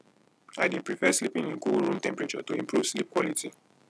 i dey prefer sleeping in cool room temperature to improve sleep quality